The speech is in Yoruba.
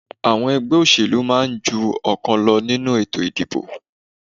Àwọn ẹgbẹ́ òṣẹ̀lú máa ń ju ọ̀kan lọ nínú ètò ìdìbò